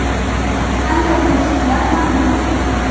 Qanday to‘siqlar mavjud?